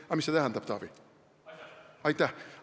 Aga mis see tähendab, Taavi?